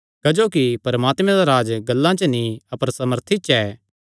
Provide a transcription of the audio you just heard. क्जोकि परमात्मे दा राज्ज गल्लां च नीं अपर सामर्थी च ऐ